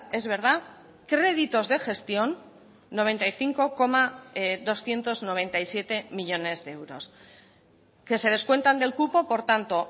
es verdad créditos de gestión noventa y cinco coma doscientos noventa y siete millónes de euros que se descuentan del cupo por tanto